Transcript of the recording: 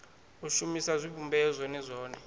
u shumisa zwivhumbeo zwone zwone